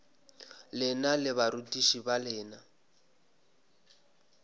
lena le barutiši ba lena